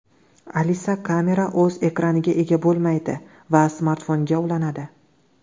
Alice Camera o‘z ekraniga ega bo‘lmaydi va smartfonga ulanadi.